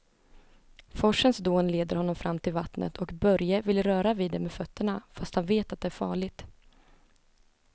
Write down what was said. Forsens dån leder honom fram till vattnet och Börje vill röra vid det med fötterna, fast han vet att det är farligt.